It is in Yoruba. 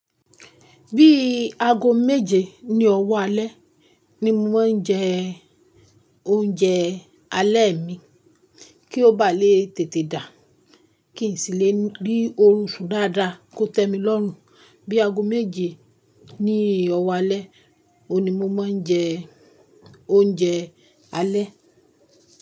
Bí ago méje ni ọwọ́ alẹ́ ni mo máa ń jẹ oúnjẹ alẹ́ mi. Kí ó bá lè tètè dà, kí n sì lè rí òrùn ṣù dáadáa kó tẹ́ mi lọ́run. Bí ago méje ni ọwọ́ alẹ́, òun ni mo máa ń jẹ oúnjẹ alẹ́.